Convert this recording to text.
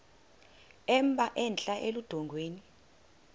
emba entla eludongeni